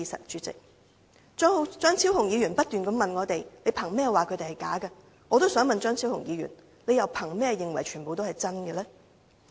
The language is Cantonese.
張超雄議員不斷問我們憑甚麼指他們是"假難民"，我亦想詢問張超雄議員，他又憑甚麼認為全部人也是真難民呢？